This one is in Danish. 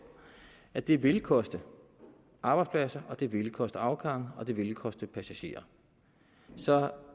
at det ville koste arbejdspladser og det ville koste afgange og det ville koste passagerer så